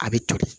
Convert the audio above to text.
A bɛ toli